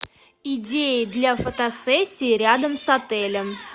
идеи для фотосессии рядом с отелем